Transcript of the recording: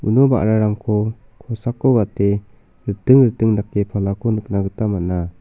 uno ba·rarangko kosako gate riting riting dake palako nikna gita man·a.